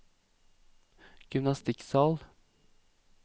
gymnastikksal